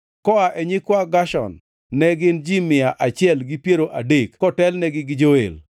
koa e nyikwa Gershon, ne gin ji mia achiel gi piero adek kotelnegi gi Joel,